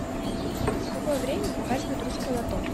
в какое время показывают русское лото